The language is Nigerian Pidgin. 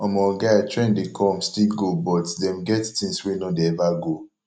omo guy trend dey come still go but dem get things wey no dey ever go